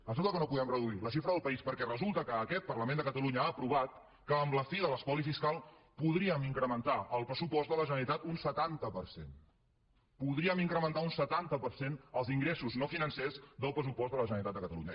això que no podem reduir la xifra del país perquè resulta que aquest parlament de catalunya ha aprovat que amb la fi de l’espoli fiscal podríem incrementar el pressupost de la generalitat un setanta per cent podríem incrementar un setanta per cent els ingressos no financers del pressupost de la generalitat de catalunya